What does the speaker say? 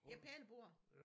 Et pælebor